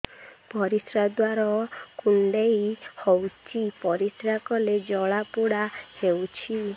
ପରିଶ୍ରା ଦ୍ୱାର କୁଣ୍ଡେଇ ହେଉଚି ପରିଶ୍ରା କଲେ ଜଳାପୋଡା ହେଉଛି